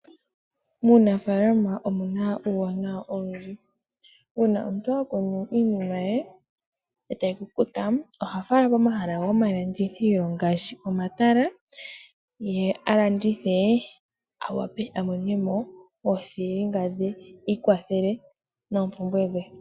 Muunafalama omuna uuwanawa owundji. Una omuntu a kuna iinima ye oyendji etayi kukuta oha fala komahala gomalandithilo ngaashi omatala. Ye a landithe awape a monemo oothilinga dhe iikwathele noompumbwe dhe.